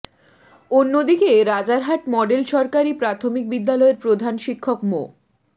অন্যদিকে রাজারহাট মডেল সরকারি প্রাথমিক বিদ্যালয়ের প্রধান শিক্ষক মো